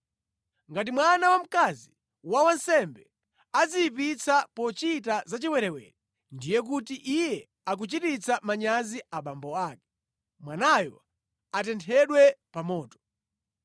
“ ‘Ngati mwana wamkazi wa wansembe adziyipitsa pochita zachiwerewere, ndiye kuti iye akuchititsa manyazi abambo ake; mwanayo atenthedwe pa moto.